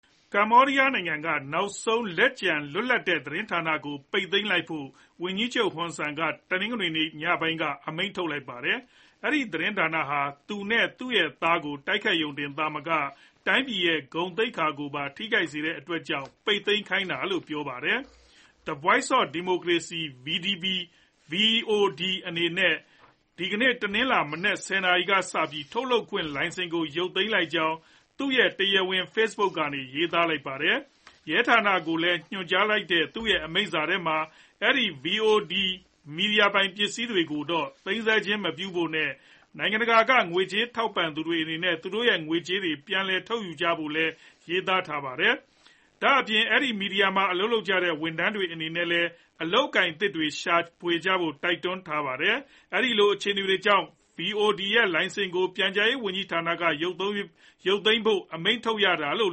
ကမ္ဘောဒီးယားနိုင်ငံက နောက်ဆုံးလက်ကျန် လွတ်လပ်တဲ့သတင်းဌာနကို ပိတ်သိမ်းလိုက်ဖို့ ဝန်ကြီးချုပ် Hun Sen က တနင်္ဂနွေနေ့ညပိုင်းက အမိန့်ထုတ်လိုက်ပါတယ်။ အဲဒီသတင်းဌာနဟာ သူနဲ့သူရဲ့သားကို တိုက်ခိုက်ရုံတင်သာမက တိုင်းပြည်ရဲ့ ဂုဏ်သိက္ခာကိုပါ ထိခိုက်စေတဲ့အတွက်ကြောင့် ပိတ်သိမ်းခိုင်းတာလို့ ပြောပါတယ်။ The Voice of Democracy VOD အနေနဲ့ ဒီကနေ့ တနင်္လာမနက် ၁ဝ နာရီကစပြီး ထုတ်လွှင့်ခွင့်လိုင်စင်ကို ရုပ်သိမ်းလိုက်ကြောင်း သူရဲ့တရားဝင် Face Book ကနေ ရေးသားထားပါတယ်။ ရဲဌာနကိုညွှန်ကြားလိုက်တဲ့ သူရဲ့အမိန့်ထဲမှာ အဲဒီ VOD မီဒီယာပိုင်ပစ္စည်းတွေကို သိမ်းဆည်းခြင်းမပြုဖို့နဲ့ နိုင်ငံတကာ ကငွေကြေးထောက်ပံ့သူတွေအနေနဲ့ သူတို့ရဲ့ ငွေကြေးတွေ ပြန်လည်ထုတ်ယူကြဖို့လည်း ရေးသားထားပါတယ်။ ဒါ့ပြင် အဲဒီမီဒီယာမှာအလုပ်လုပ်ကြတဲ့ ဝန်ထမ်းတွေအနေနဲ့လည်း အလုပ်အကိုင်အသစ်တွေ ရှာဖွေကြဖို့ တိုက်တွန်းထားပါတယ်။ အဲဒီလိုအခြေအနေတွေကြောင့် VOD ရဲ့လိုင်စင်ကို ပြန်ကြားရေးဝန်ကြီးဌာနက ရုပ်သိမ်းဖို့အမိန့်ထုတ်ရတာလို့